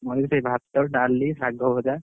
ମୋର ବି ସେଇ ଭାତ, ଡାଲି, ଶାଗ ଭଜା।